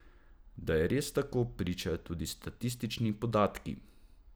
Da je res tako, pričajo tudi statistični podatki.